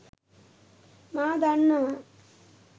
මා දන්නවා.